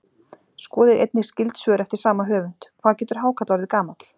Skoðið einnig skyld svör eftir sama höfund: Hvað getur hákarl orðið gamall?